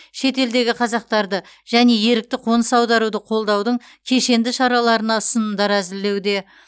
шетелдегі қазақтарды және ерікті қоныс аударуды қолдаудың кешенді шараларына ұсынымдар әзірлеуде